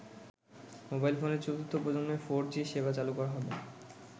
Mobile ফোনের চতুর্থ প্রজন্মের ফোর জি সেবা চালু করা হবে।